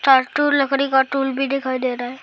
लकड़ी टूल भी दिखाई दे रहा है।